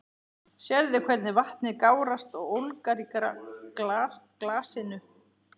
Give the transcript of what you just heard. Sérðu hvernig vatnið gárast og ólgar í glasinu?